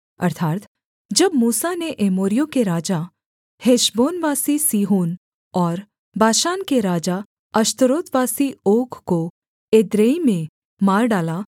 अर्थात् जब मूसा ने एमोरियों के राजा हेशबोनवासी सीहोन और बाशान के राजा अश्तारोतवासी ओग को एद्रेई में मार डाला